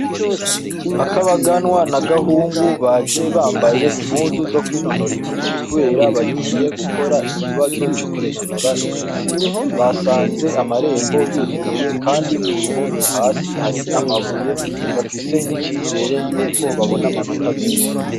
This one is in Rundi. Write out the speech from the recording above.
Akoabaganwa na gahungu baje bambaye impuzu zo kwinonora imitsi, kubera bagiye gukora ikibazo co kwinonora imitsi basanze amarembo yuguruye, kandi ku ruhome hasi hari amabuye bafise n'icizere yuko babona amanota menshi.